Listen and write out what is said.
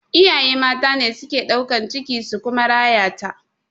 Iyaye mata ne suke ɗaukan ciki su kuma rayata